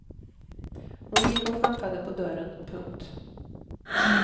Hon gick och knackade på dörren. punkt